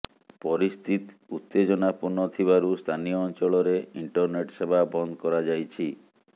ପରିସ୍ଥିତି ଉତ୍ତେଜନା ପୂର୍ଣ୍ଣ ଥିବାରୁ ସ୍ଥାନୀୟ ଅଞ୍ଚଳରେ ଇଣ୍ଟରନେଟ୍ ସେବା ବନ୍ଦ କରାଯାଇଛି